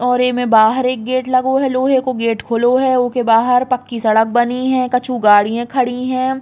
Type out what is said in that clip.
और ए में बाहर एक गेट लगो है लोहे को गेट खुलो है। ओके बाहर पक्की सड़क बनी है। कछु गाड़ियाँ खड़ी हैं।